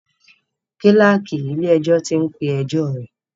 Kíláàkì ilé ẹjọ́ tí ń pé ẹjọ́ rẹ̀.